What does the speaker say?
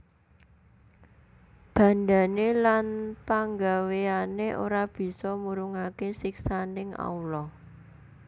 Bandhané lan panggawéyané ora bisa murungaké siksaning Allah